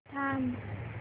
थांब